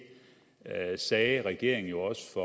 sagde regeringen jo også